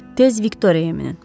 Tez Viktoriya minin.